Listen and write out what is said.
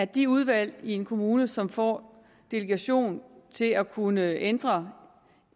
de udvalg i en kommune som får delegation til at kunne ændre